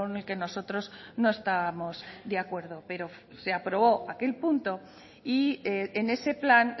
el que nosotros no estábamos de acuerdo pero se aprobó aquel punto y en ese plan